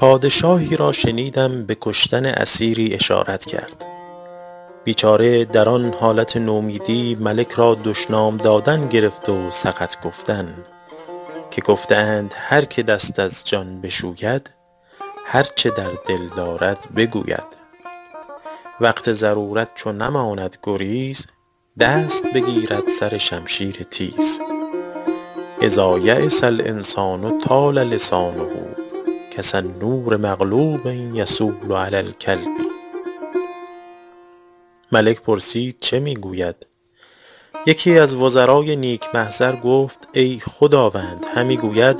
پادشاهی را شنیدم به کشتن اسیری اشارت کرد بیچاره در آن حالت نومیدی ملک را دشنام دادن گرفت و سقط گفتن که گفته اند هر که دست از جان بشوید هر چه در دل دارد بگوید وقت ضرورت چو نماند گریز دست بگیرد سر شمشیر تیز إذا ییس الإنسان طال لسانه کسنور مغلوب یصول علی الکلب ملک پرسید چه می گوید یکی از وزرای نیک محضر گفت ای خداوند همی گوید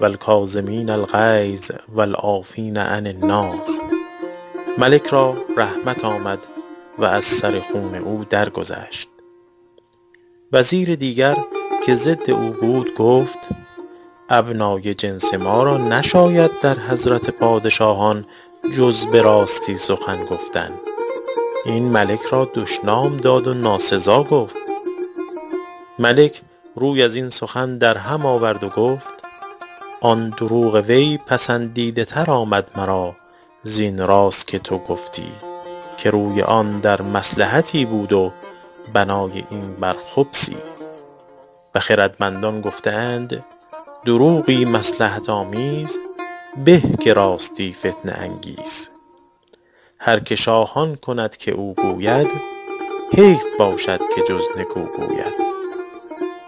و الکاظمین الغیظ و العافین عن الناس ملک را رحمت آمد و از سر خون او درگذشت وزیر دیگر که ضد او بود گفت ابنای جنس ما را نشاید در حضرت پادشاهان جز به راستی سخن گفتن این ملک را دشنام داد و ناسزا گفت ملک روی از این سخن در هم آورد و گفت آن دروغ وی پسندیده تر آمد مرا زین راست که تو گفتی که روی آن در مصلحتی بود و بنای این بر خبثی و خردمندان گفته اند دروغی مصلحت آمیز به که راستی فتنه انگیز هر که شاه آن کند که او گوید حیف باشد که جز نکو گوید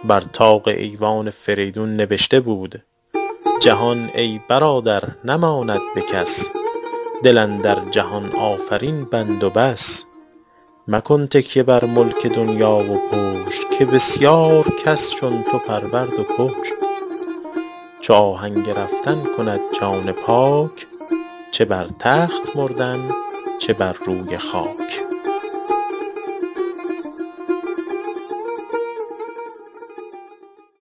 بر طاق ایوان فریدون نبشته بود جهان ای برادر نماند به کس دل اندر جهان آفرین بند و بس مکن تکیه بر ملک دنیا و پشت که بسیار کس چون تو پرورد و کشت چو آهنگ رفتن کند جان پاک چه بر تخت مردن چه بر روی خاک